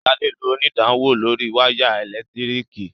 Sade ló onidanwo lórí waya elekitiriki.